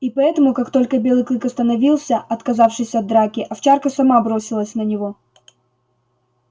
и поэтому как только белый клык остановился отказавшись от драки овчарка сама бросилась на него